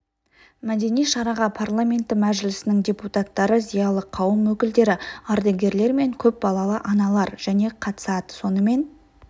мәдени шараға парламенті мәжілісінің депутаттары зиялы қауым өкілдері ардагерлер мен көп балалы аналар және қатысады сонымен